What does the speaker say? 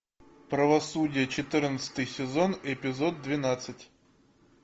правосудие четырнадцатый сезон эпизод двенадцать